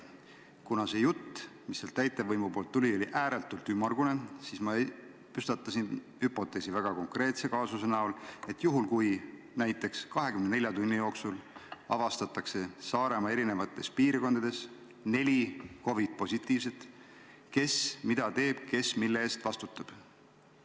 Kuna täitevvõimu jutt oli ääretult ümmargune, siis ma püstitasin hüpoteesi väga konkreetse kaasuse näol, et juhul, kui näiteks 24 tunni jooksul avastatakse Saaremaa eri piirkondades neli COVID-positiivset, siis kes mida teeb ja kes mille eest vastutab.